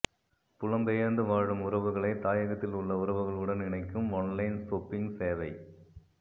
புலம்பெயர்ந்து வாழும் உறவுகளை தாயகத்திலுள்ள உறவுகளுடன் இணைக்கும் ஒன்லைன் சொப்பிங் சேவை